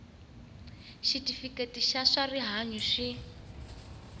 xitifiketi xa swa rihanyu swi